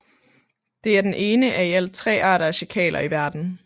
Det er den ene af i alt tre arter af sjakaler i verden